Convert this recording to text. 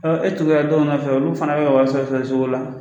e tugura dɔw nɔfɛ olu fana bɛ ka wari sɔrɔ o sɔrɔɔ cogo la.